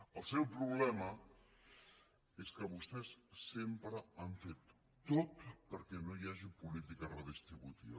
el seu problema és que vostès sempre han fet tot perquè no hi hagi política redistributiva